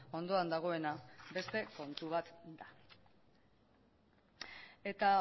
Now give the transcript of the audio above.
ondoan dagoena beste kontu bat da eta